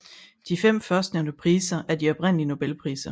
De fem førstnævnte priser er de oprindelige Nobelpriser